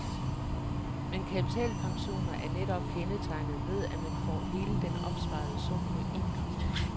Men kapitalpensioner er netop kendetegnet ved, at man får hele den opsparede sum på en gang.